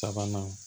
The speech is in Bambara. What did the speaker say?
Sabanan